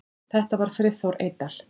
Þetta var Friðþór Eydal.